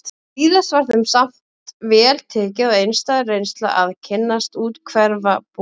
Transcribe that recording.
Víðast var þeim samt vel tekið og einstæð reynsla að kynnast úthverfabúum